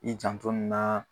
I janto nin na.